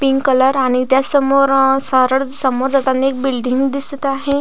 Pink colour आणि त्या समोर अ सरळ समोर जाताना एक बिल्डिंग दिसत आहे.